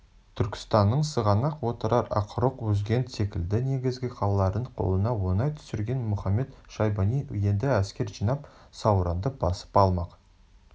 түркістанның сығанақ отырар ақрұқ үзгент секілді негізгі қалаларын қолына оңай түсірген мұхамед-шайбани енді әскер жинап сауранды басып алмақ